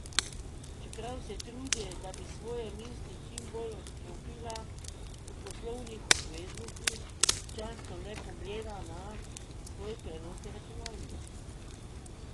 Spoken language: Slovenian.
Čeprav se trudi, da bi svoje misli čim bolj odklopila od poslovnih obveznosti, občasno le pogleda na svoj prenosni računalnik.